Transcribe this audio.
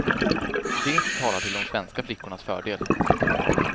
Det talar till de svenska flickornas fördel.